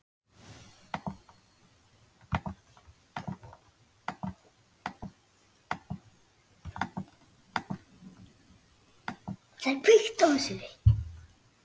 Hér er tillaga að honum.